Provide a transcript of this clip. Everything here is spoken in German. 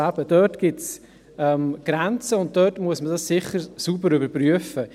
Eben, dort gibt es Grenzen, und diesbezüglich muss man es sicher sauber überprüfen.